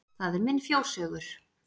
Það er minn fjóshaugur.